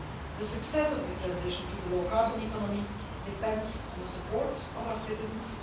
The success of the transition to the low carbon economy depends on the support of our citizens